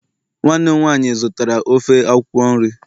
nwanne m nwanyi zụtara ofe akwukwo nri